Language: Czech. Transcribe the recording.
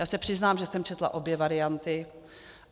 Já se přiznám, že jsem četla obě varianty.